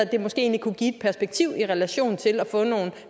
det måske egentlig kunne give et perspektiv i relation til at få nogle